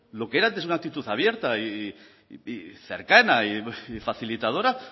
lo que era antes una actitud abierta y cercana y facilitadora